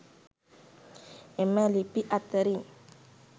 එම ලිපි අතරින්